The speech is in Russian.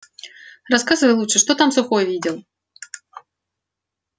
рассказывай лучше что там сухой видел